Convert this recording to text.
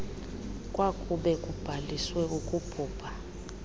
kwakube kubhaliswe ukubhubha